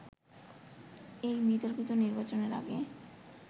এই বিতর্কিত নির্বাচনের আগে